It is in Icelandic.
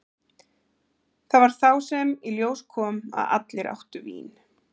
Það var þá sem í ljós kom að allir áttu vín.